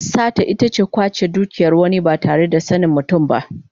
Sata ita ce kwace dukiyar wani ba tare da sanin mutum ba.